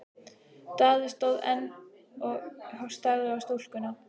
Daði stóð enn og starði á stúlkuna.